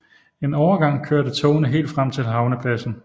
En overgang kørte togene helt frem til havnepladsen